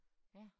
Ja